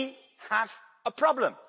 We have a problem